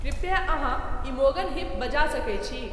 कृपया अहाँइमोगन हिप बजा सके छी